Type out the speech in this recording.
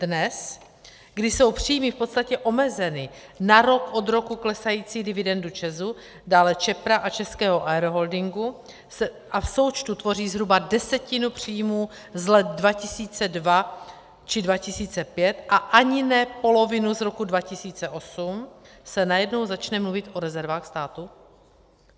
Dnes, kdy jsou příjmy v podstatě omezeny na rok od roku klesající dividendu ČEZu, dále Čepra a Českého Aeroholdingu a v součtu tvoří zhruba desetinu příjmů z let 2002 či 2005 a ani ne polovinu z roku 2008, se najednou začne mluvit o rezervách státu?